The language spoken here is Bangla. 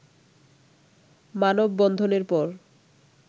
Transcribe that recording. মানববন্ধনের পর